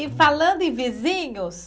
E falando em vizinhos?